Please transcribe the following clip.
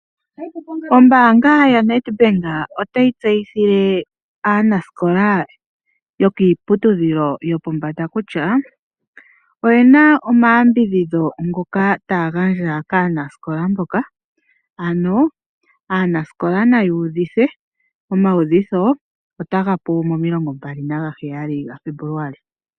Ombaanga yaNedbank otayi tseyithile aanasikola yokiiputudhilo yopombanda kutya oyena omayambidhidho ngoka taya gandja kaanasikola mboka ano aanasikola naya uvithe, omauvitho otaga hulu 27 Febuluali.